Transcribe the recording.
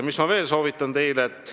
Mis ma veel teile soovitan?